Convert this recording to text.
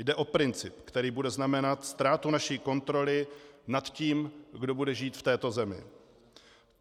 Jde o princip, který bude znamenat ztrátu naší kontroly nad tím, kdo bude žít v této zemi.